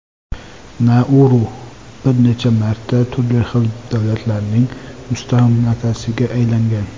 Nauru bir necha marta turli xil davlatlarning mustamlakasiga aylangan.